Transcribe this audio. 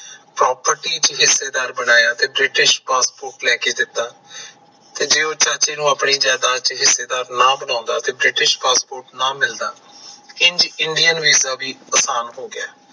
PROPERTY ਚ ਹਿੱਸੇਦਾਰ ਬਣਾਇਆ ਤੇ ਬ੍ਰਿਟਿਸ਼ passport ਲੈ ਕੇ ਦਿੱਤਾ ਤੇ ਜੇ ਉਹ ਚਾਚੇ ਨੂੰ ਆਪਣੀ ਜਾਇਦਾਦ ਚ ਹਿੱਸੇਦਾਰ ਨਾ ਬਣਾਉਂਦਾ ਤੇ ਬ੍ਰਿਟਿਸ਼ passport ਨਾ ਮਿਲਦਾ, ਇੰਜ INDIAN ਵੀਜਾ ਵੀ ਆਸਾਨ ਹੋ ਗਿਆ